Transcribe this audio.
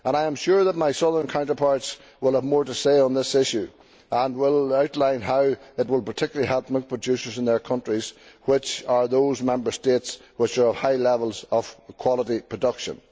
I am sure that my southern counterparts will have more to say on this issue and will outline how it will particularly help milk producers in their countries, which are those Member States which have high levels of quality production.